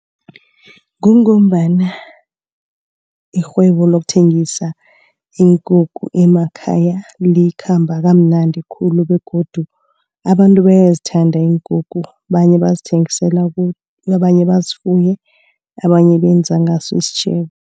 Kungombana irhwebo lokuthengisa iinkukhu emakhaya likhamba kamnandi khulu begodu abantu bayazithanda iinkukhu. Abanye bazithengisela abanye bazifuye, abanye benza ngaso isitjhebo.